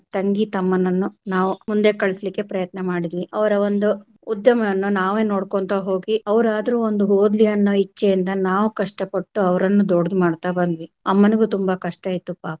ತಂಗಿ ತಮ್ಮನನ್ನು ನಾವು ಮುಂದೆ ಕಳ್ಸ್ಲಿಕ್ಕೆ ಪ್ರಯತ್ನ ಮಾಡ್ದ್ವಿ ಅವರ ಒಂದು ಉದ್ಯಮವನ್ನು ನಾವೆ ನೋಡ್ಕೊಂತ ಹೋಗಿ ಅವರಾದ್ರೂ ಒಂದು ಓದ್ಲಿ ಅನ್ನೋ ಇಚ್ಚೆಯಿಂದ ನಾವು ಕಷ್ಟಪಟ್ಟು ಅವರನ್ನು ದೊಡ್ಡದು ಮಾಡ್ತಾ ಬಂದ್ವಿ ಅಮ್ಮನಿಗು ತುಂಬಾ ಕಷ್ಟ ಇತ್ತು ಪಾಪ.